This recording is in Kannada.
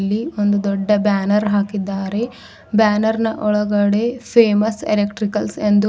ಇಲ್ಲಿ ಒಂದು ದೊಡ್ಡ ಬ್ಯಾನರ್ ಹಾಕಿದಾರೆ ಬ್ಯಾನರ್ ನಾ ಒಳಗಡೆ ಫೇಮಸ್ ಎಲೆಕ್ಟ್ರಿಕಲ್ಸ್ ಎಂದು --